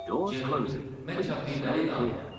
ज़रूर, मैं छब्बी बʼरें दा आं।